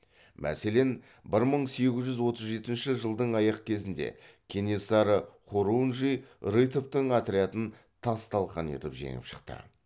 мәселен бір мың сегіз жүз отыз жетінші жылдың аяқ кезінде кенесары хорунжий рытовтың отрядын тас талқан етіп жеңіп шықты